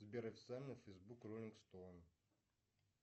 сбер официальный фейсбук роллинг стоунз